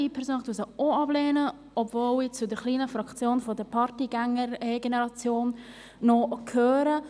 Ich persönlich lehne sie auch ab, obwohl ich auch noch zur kleinen Fraktion der Partygänger-Generation gehöre.